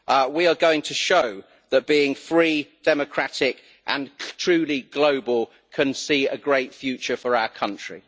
We are going to show that being free, democratic and truly global can see a great future for our country.